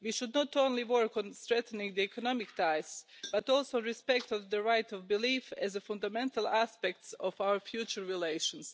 We should not only work on strengthening the economic ties but also respect the right of belief as a fundamental aspect of our future relations.